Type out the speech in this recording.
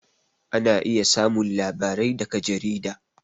Ana iya samun labarai daga jarida